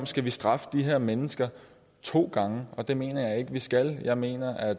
skal straffe de her mennesker to gange det mener jeg ikke at vi skal jeg mener at